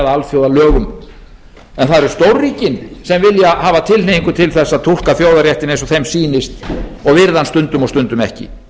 alþjóðalögum en það eru stórríkin sem hafa tilhneigingu til þess að túlka þjóðarréttinn eins og þeim sýnist og virða hann stundum og stundum ekki